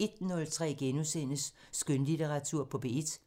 * 01:03: Skønlitteratur på P1 *